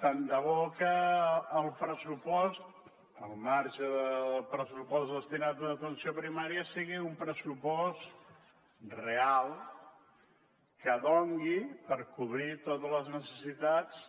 tant de bo que el pressupost al marge del pressupost destinat a atenció primària sigui un pressupost real que doni per cobrir totes les necessitats